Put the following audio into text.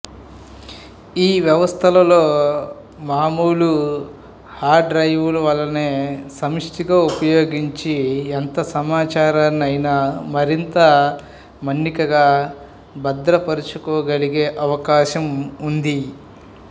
ఈ వ్యవస్థలలో మామూలు హార్డుడ్రైవులనే సమీష్టిగా ఉపయోగించి ఎంత సమాచారాన్నయినా మరింత మన్నికగా భద్రపరచుకోగలిగే అవకాశం ఉంది